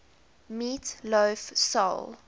meat loaf soul